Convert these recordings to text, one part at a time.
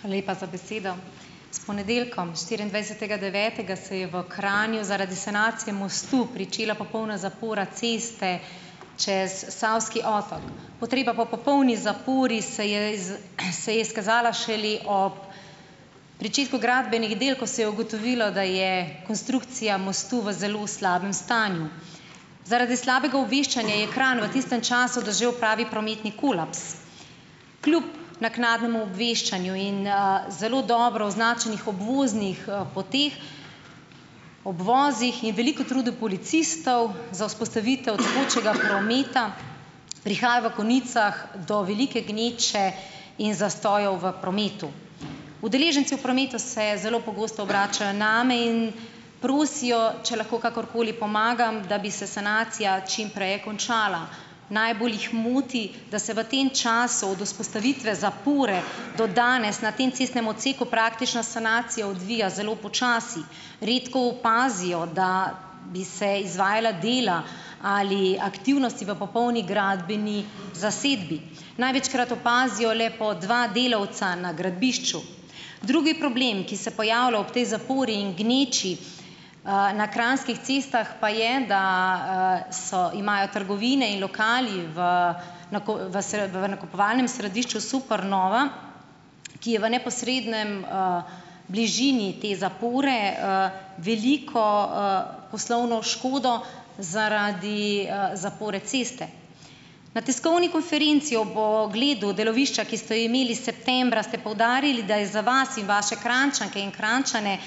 Hvala lepa za besedo. S ponedeljkom, štiriindvajsetega devetega, se je v Kranju zaradi sanacije mostu pričela popolna zapora ceste čez Savski otok. Potreba po popolni zapori se je iz se je izkazala šele ob pričetku gradbenih del, ko se je ugotovilo, da je konstrukcija mostu v zelo slabem stanju. Zaradi slabega obveščanja je Kranj v tistem času doživel pravi prometni kolaps. Kljub naknadnemu obveščanju in, zelo dobro označenih obvoznih, poteh, obvozih in veliko truda policistov za vzpostavitev tekočega prometa prihaja v konicah do velike gneče in zastojev v prometu. Udeleženci v prometu se zelo pogosto obračajo name in prosijo, če lahko kakorkoli pomagam, da bi se sanacija čim prej končala. Najbolj jih moti, da se v tem času od vzpostavitve zapore do danes na tem cestnem odseku praktično sanacija odvija zelo počasi, redko opazijo, da bi se izvajala dela ali aktivnosti v popolni gradbeni zasedbi. Največkrat opazijo le po dva delavca na gradbišču. Drugi problem, ki se pojavlja ob tej zapori in gneči, na kranjskih cestah, pa je, da, so imajo trgovine in lokali v nako vasrb v nakupovalnem središču Supernova, ki je v neposredni, bližini te zapore, veliko, poslovno škodo zaradi, zapore ceste. Na tiskovni konferenci ob ogledu delovišča, ki ste jo imeli septembra, ste poudarili, da je za vas in vaše Kranjčanke in Kranjčane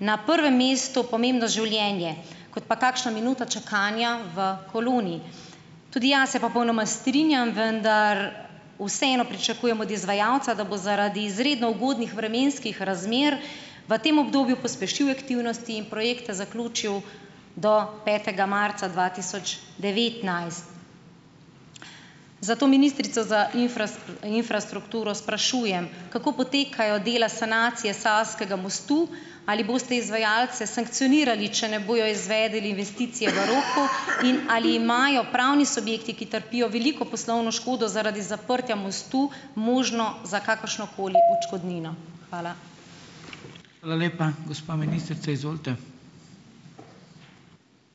na prvem mestu pomembno življenje kot pa kakšna minuta čakanja v koloni. Tudi jaz se strinjam, vendar, popolnoma, vseeno pričakujem od izvajalca, da bo zaradi izredno ugodnih vremenskih razmer, v tem obdobju pospešil aktivnosti in projekte zaključil do petega marca dva tisoč devetnajst. Zato ministrico za infrastrukturo sprašujem, kako potekajo dela sanacije Savskega mostu? Ali boste izvajalce sankcionirali, če ne bojo izvedli investicije v roku? In ali imajo pravni subjekti, ki trpijo veliko poslovno škodo zaradi zaprtja mostu, možnost za kakršnokoli odškodnino? Hvala.